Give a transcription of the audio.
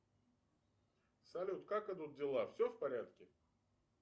салют как идут дела все в порядке